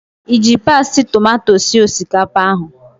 Iji pasti tomato sie osikapa ahụ?